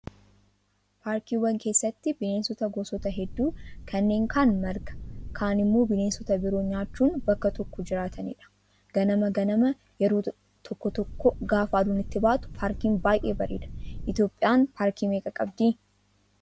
Paarkiiwwan keessatti bineensota gosoota hedduu kanneen kaan marga, kaan immoo bineensota biroo nyaachuun bakka tokko jiraatanidha. Ganama ganama yeroo tokko tokko gaafa aduun itti baatu paarkiin baay'ee bareeda. Itoophiyaan paarkii meeqa qabdi?